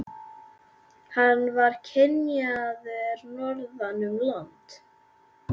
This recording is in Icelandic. Hann var kynjaður norðan um land.